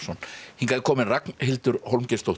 hingað er komin Ragnhildur